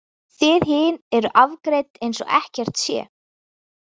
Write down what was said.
Þið hin eruð afgreidd eins og ekkert sé.